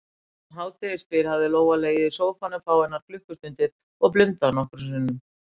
Um hádegisbil hafði Lóa legið í sófanum fáeinar klukkustundir og blundað nokkrum sinnum.